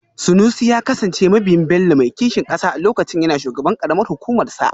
Sanusi ya kasance mabiyin Bello mai kishin kasa a lokacin yana shugaban karamar hukumarsa